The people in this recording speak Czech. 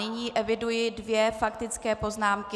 Nyní eviduji dvě faktické poznámky.